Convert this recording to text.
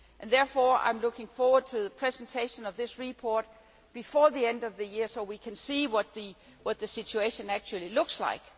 Therefore, I am looking forward to the presenting of this report before the end of the year so we can see what the situation actually looks like.